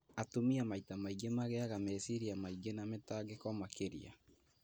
Atumia maita maingĩ magĩaga meciria maingĩ na mĩtangĩko makĩria